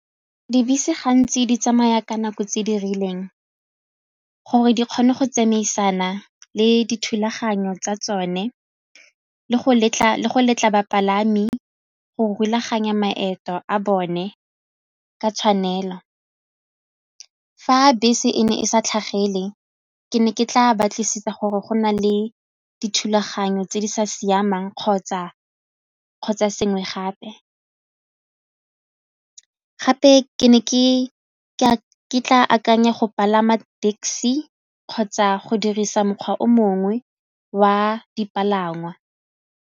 Dibese gantsi di tsamaya ka nako tse di rileng gore di kgone go tsamaisana le dithulaganyo tsa tsone le go letla bapalami go rulaganya maeto a bone ka tshwanelo. Fa bese e ne e sa tlhagele ke ne ke tla batlisisa gore go na le dithulaganyo tse di sa siamang kgotsa sengwe gape. Gape ke ne ke tla akanya go palama taxi kgotsa go dirisa mokgwa o mongwe wa dipalangwa.